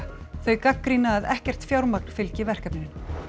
þau gagnrýna að ekkert fjármagn fylgi verkefninu